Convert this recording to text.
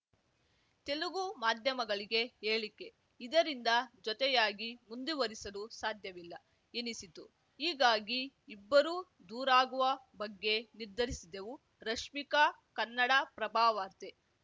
ತೆಲುಗು ಮಾಧ್ಯಮಗಳಿಗೆ ಹೇಳಿಕೆ ಇದರಿಂದ ಜೊತೆಯಾಗಿ ಮುಂದುವರಿಸಲು ಸಾಧ್ಯವಿಲ್ಲ ಎನಿಸಿತು ಹೀಗಾಗಿ ಇಬ್ಬರೂ ದೂರಾಗುವ ಬಗ್ಗೆ ನಿರ್ಧರಿಸಿದೆವುರಶ್ಮಿಕಾ ಕನ್ನಡಪ್ರಭವಾರ್ತೆ